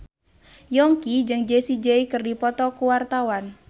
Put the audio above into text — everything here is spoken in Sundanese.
Yongki jeung Jessie J keur dipoto ku wartawan